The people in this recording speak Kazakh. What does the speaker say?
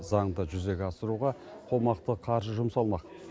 заңды жүзеге асыруға қомақты қаржы жұмсалмақ